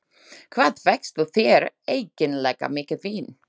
Hvað fékkstu þér eiginlega mikið vín?